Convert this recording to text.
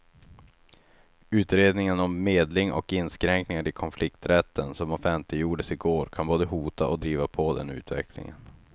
Utredningen om medling och inskränkningar i konflikträtten som offentliggjordes i går kan både hota och driva på den utvecklingen.